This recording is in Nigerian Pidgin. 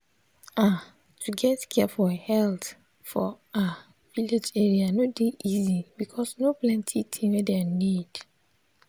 ah to get care for health for ah village area no dey easy because no plenti thing wey dem need.